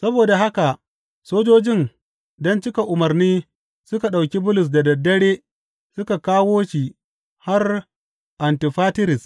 Saboda haka sojojin, don cika umarni, suka ɗauki Bulus da dad dare suka kawo shi har Antifatiris.